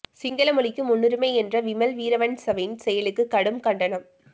சிங்கள மொழிக்கு முன்னுரிமை என்ற விமல் வீரவன்சவின் செயலுக்கு கடும் கண்டனம்